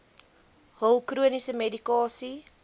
hul chroniese medikasie